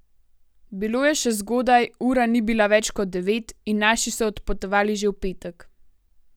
Bilo je še zgodaj, ura ni bila več kot devet, in naši so odpotovali že v petek.